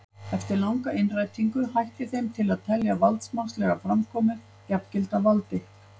Eftir langa innrætingu hætti þeim til að telja valdsmannslega framkomu jafngilda valdi.